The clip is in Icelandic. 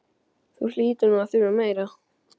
Þú hlýtur nú að þurfa meira.